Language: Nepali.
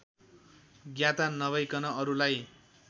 ज्ञाता नभइकन अरूलाई